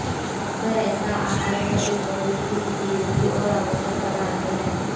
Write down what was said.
अक्सर ऐसा आहार में एक बहुत ही उपयोगी और आवश्यक पदार्थ है